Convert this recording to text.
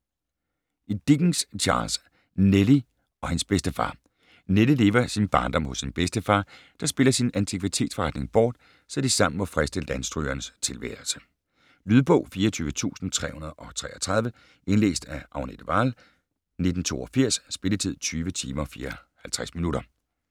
Dickens, Charles: Nelly og hendes bedstefar Nelly lever sin barndom hos sin bedstefar, der spiller sin antikvitetsforretning bort, så de sammen må friste landstrygernes tilværelse. Lydbog 24333 Indlæst af Agnete Wahl, 1982. Spilletid: 20 timer, 54 minutter.